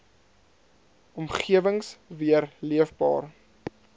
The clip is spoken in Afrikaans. omgewings weer leefbaar